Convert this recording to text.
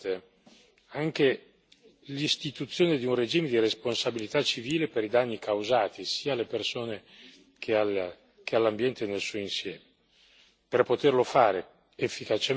Credo che a questo si debba aggiungere, perché è importante, anche l'istituzione di un regime di responsabilità civile per i danni causati sia alle persone che all'ambiente nel suo insieme.